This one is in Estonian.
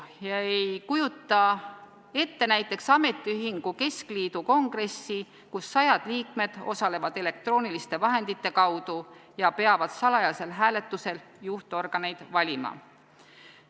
Ma ei kujuta ette näiteks ametiühingu keskliidu kongressi, kus sajad liikmed osalevad elektrooniliste vahendite kaudu ja peavad salajasel hääletusel juhtorganeid valima.